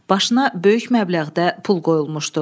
Başına böyük məbləğdə pul qoyulmuşdu.